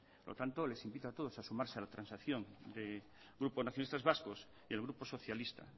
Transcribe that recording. por lo tanto les invito a todos a sumarse a la transacción del grupo nacionalistas vascos y el grupo socialista